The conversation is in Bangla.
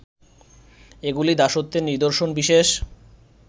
এগুলি দাসত্বের নিদর্শন বিশেষ